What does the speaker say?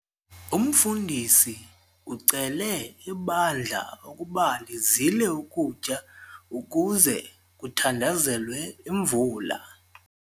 Umfundisi ucele ibandla ukuba lizile ukutya ukuze kuthandazelwe imvula.